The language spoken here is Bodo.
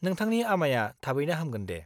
नोंथांनि आमाइया थाबैनो हामगोन दे।